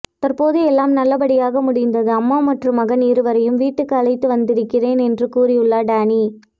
தற்போது எல்லாம் நல்லபடியாக முடிந்து அம்மா மற்றும் மகன் இருவரையும் வீட்டுக்கு அழைத்து வந்திருக்கிறேன் என்று கூறியுள்ளார் டேனி